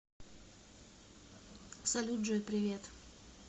салют джой привет